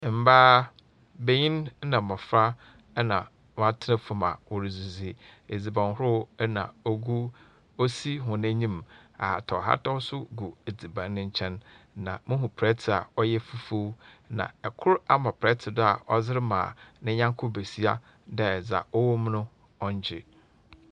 Mbaa, banin na mbofra na wɔatsena famu a wɔredzidzi, edzibanhorow na ogu osi hɔn enyim, ahataw ahataw so gu edziban no nkyɛn, na muhu prɛtse a ɔyɛ fufuw, na kor ama prɛtse do a ɔdze rema ne nyɛnko basia dɛ dza ɔwɔ mu no, ɔngye.